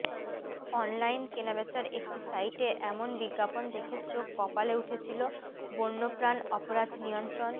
online কেনাবেচার একটি সাইটে এমন বিজ্ঞাপন দেখে চোখ কপালে উঠেছিল বন্যপ্রাণ অপরাধ নিয়ন্ত্রণ